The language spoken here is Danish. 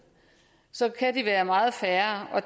så kan de være meget færre